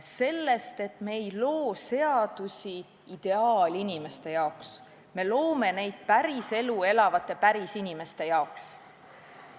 Sellest, et me ei loo seadusi ideaalinimeste jaoks, me loome neid päriselu elavate pärisinimeste jaoks.